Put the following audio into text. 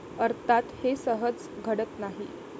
अर्थात हे सहज घडत नाही.